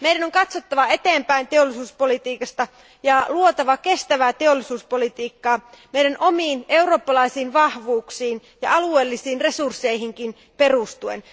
Meidän on katsottava eteenpäin teollisuuspolitiikassa ja luotava kestävää teollisuuspolitiikkaa omiin eurooppalaisiin vahvuuksiimme ja alueellisiin resursseihimme perustuen.